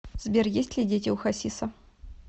сбер есть ли дети у хасиса